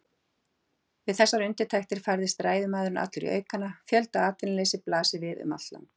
Við þessar undirtektir færðist ræðumaðurinn allur í aukana: Fjöldaatvinnuleysi blasir við um allt land.